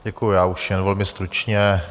Děkuji, já už jen velmi stručně.